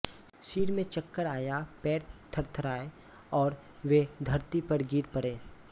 सिर में चक्कर आया पैर थर्राये और वे धरती पर गिर पड़े